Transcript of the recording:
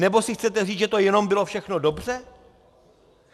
Nebo si chcete říct, že to jenom bylo všechno dobře?